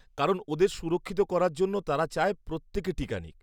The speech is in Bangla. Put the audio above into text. কারণ ওদের সুরক্ষিত করার জন্য তারা চায় প্রত্যেকে টিকা নিক।